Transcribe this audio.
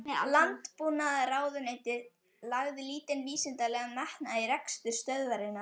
Landbúnaðarráðuneytið lagði lítinn vísindalegan metnað í rekstur stöðvarinnar.